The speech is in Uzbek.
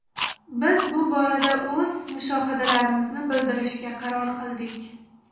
Biz bu borada o‘z mushohadalarimizni bildirishga qaror qildik.